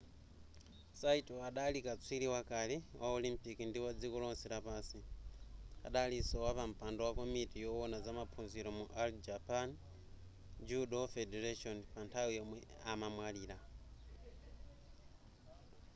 saito adali katswiri wakale wa olimpiki ndi wadziko lonse lapansi adalinso wapampando wa komiti yowona zamaphunziro mu all japan judo federation pa nthawi yomwe amamwalira